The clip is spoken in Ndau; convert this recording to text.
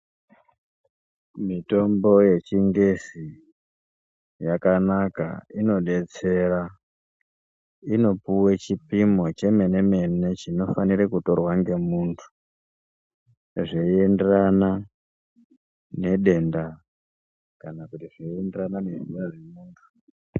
Mitombo yechingezi yakanaka inodetsere ,inopiwe chipimo chemene mene chinofanirwe kurorwa ngemundu zveinderana nedenda kana zveinderana nezera remuntu.